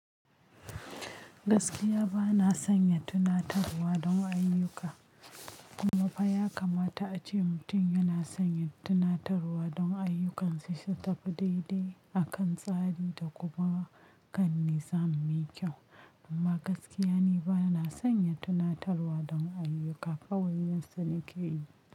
Gaskiya ba na sanya tunatarwa don ayyuka, kuma fa ya kamata ace mutum yana sanya tunatarwa don ayyukansa su tafi daidai akan tsari da kuma kan muzani mai kyau. Amma gaskiya ni ba na sanya tunatarwa don ayyuka kawai yadda suke yi.